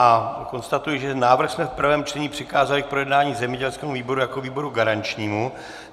A konstatuji, že návrh jsme v prvém čtení přikázali k projednání zemědělskému výboru jako výboru garančnímu.